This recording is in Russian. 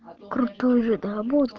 крутой видос